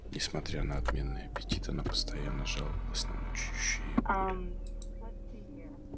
несмотря на отменный аппетит она постоянно жаловалась на мучающие её боли